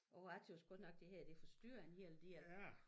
Åg jeg tøs godt nok det her det forstyrrer en hel del